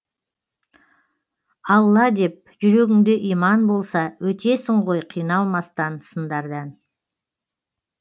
алла деп жүрегіңде иман болса өтесің ғой қиналмастан сындардан